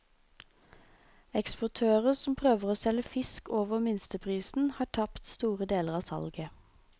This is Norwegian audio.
Eksportører som prøver å selge fisk over minsteprisen, har tapt store deler av salget.